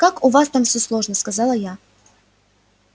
как у вас там всё сложно сказала я